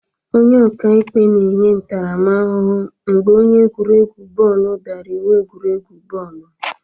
Onye ọka ikpe na-enye ntaramahụhụ mgbe onye egwuregwu bọọlụ dara iwu egwuregwu bọọlụ.